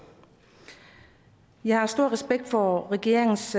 jeg har stor respekt for regeringens